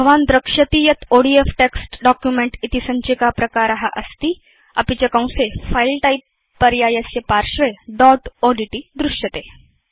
भवान् द्रक्ष्यति यत् ओडीएफ टेक्स्ट् डॉक्युमेंट इति सञ्चिकाप्रकार अस्ति अपि च कंसेFile टाइप पर्यायस्य पार्श्वे दोत् ओड्ट् दृश्यते